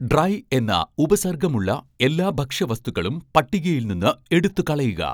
dry എന്ന ഉപസർഗ്ഗം ഉള്ള എല്ലാ ഭക്ഷ്യവസ്തുക്കളും പട്ടികയിൽ നിന്ന് എടുത്തുകളയുക